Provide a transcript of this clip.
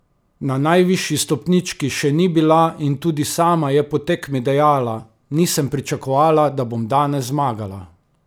Na najvišji stopnički še ni bila in tudi sama je po tekmi dejala: "Nisem pričakovala, da bom danes zmagala.